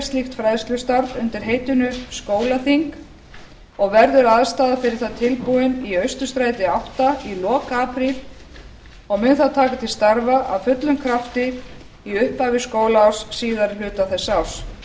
slíkt fræðslustarf undir heitinu skólaþing og verður aðstaða fyrir það tilbúin í austurstræti átta í lok apríl og mun það taka til starfa af fullum krafti í upphafi skólaárs síðari hluta þessa árs það